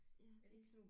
Ja det